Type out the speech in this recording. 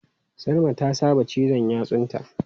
Salma ta saba cizan yatsunta.